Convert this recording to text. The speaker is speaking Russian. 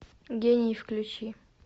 гений включи